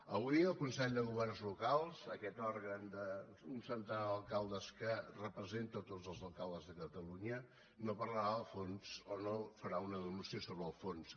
avui el consell de governs locals aquest òrgan d’un centenar d’alcaldes que representa tots els alcaldes de catalunya no parlarà del fons o no farà una denúncia sobre el fons